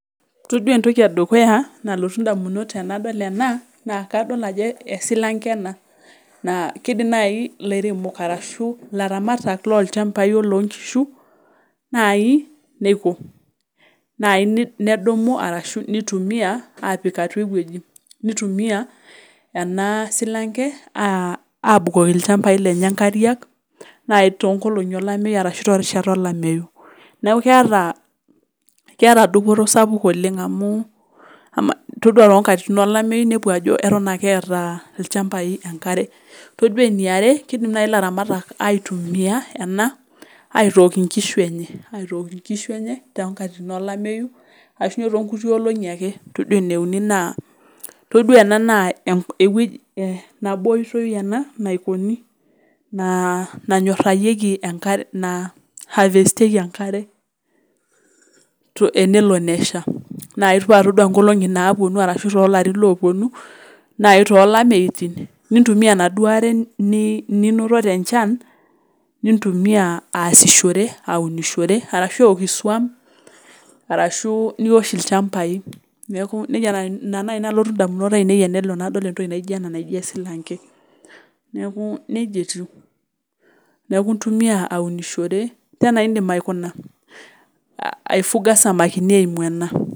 Todua entoki edukuya nalotu indamunot aainei tenadol ena naa esilanke ena keidim naaji ilaramatak loonkishu naaji neiko naaji nedumu neitumiya nepik ewueji neitumia aapik ilchambai lenye inkariak naaji tinkolongi olameyu neeku keeta dupoto oleng amu oreee toonkatitin olameyu keeku keeta ake ilchambai enkare todua eniare keidim naaji ilaramatak aitumiya en aitook inkishu enye toonkatitin olameyu ashuu toonkulie olong'i ake todua eneuni naa ewueji nabo oitoi ena naikoni nanyorayieki naihavestiyieki enkare enelo nesha ore naaji toolapaitin ashuu toolarin oopuonu nintumia enaduo are ninoto tenchan nintumia aasishore ahua aunishore ashua eeun iswam arashuu niwash ilchambai neeku ina naaji nalotu indamunot aainei tenadol entoki naijio ena naijio esilankeneeku nejia etiu neeku intumia aunishore indiim aifuga isamakini eimu ena.